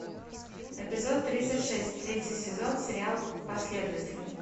эпизод тридцать шесть третий сезон сериал последователи